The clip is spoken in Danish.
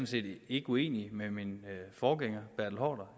set ikke uenig med min forgænger herre